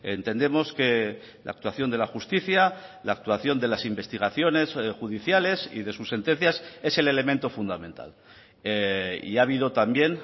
entendemos que la actuación de la justicia la actuación de las investigaciones judiciales y de sus sentencias es el elemento fundamental y ha habido también